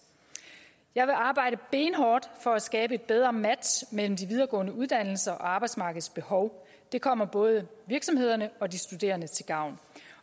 jeg vil arbejde benhårdt for at skabe et bedre match mellem de videregående uddannelser og arbejdsmarkedets behov det kommer både virksomhederne og de studerende til gavn